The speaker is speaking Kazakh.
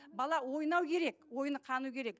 бала ойнау керек ойыны қану керек